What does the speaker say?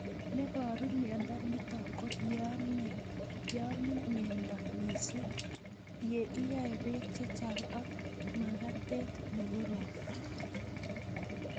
Neparu miondo nitok ko yeamin meleda mising',ye iyae pek chechang' ak magatet ne korom